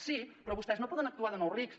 sí però vostès no poden actuar de nous rics